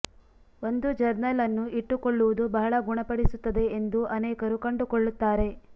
ಒಂದು ಜರ್ನಲ್ ಅನ್ನು ಇಟ್ಟುಕೊಳ್ಳುವುದು ಬಹಳ ಗುಣಪಡಿಸುತ್ತದೆ ಎಂದು ಅನೇಕರು ಕಂಡುಕೊಳ್ಳುತ್ತಾರೆ